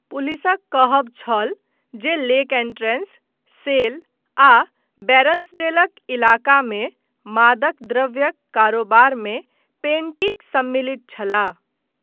पुलिसक कहब छल जे लेक एंट्रेंस, सेल आ बैरन्सडेलक इलाकामे मादक द्रव्यक कारोबारमे पेंटिक सम्मिलित छलाह।